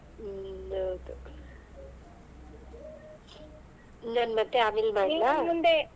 ಹ್ಮ್ ಹೌದು ನಾನ್ ಮತ್ತೆ ಆಮೇಲ ಮಾಡಲಾ .